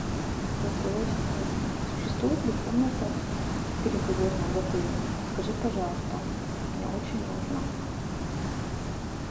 голосовой ассистент существует ли комната переговорная в отеле подскажи пожалуйста мне очень нужно